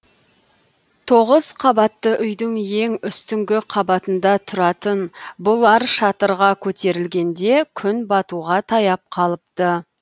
тоғыз қабатты үйдің ең үстіңгі қабатында тұратын бұлар шатырға көтерілгенде күн батуға таяп қалыпты